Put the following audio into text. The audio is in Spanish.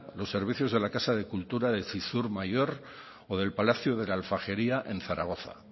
los servicios de la casa de cultura de zizur mayor o del palacio de la alfajería en zaragoza